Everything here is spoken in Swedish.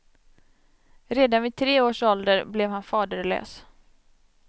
Redan vid tre års ålder blev han faderlös.